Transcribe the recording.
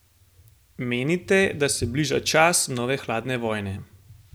Menite, da se bliža čas nove hladne vojne?